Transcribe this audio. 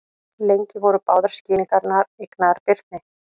Lengi voru báðar skýringarnar eignaðar Birni.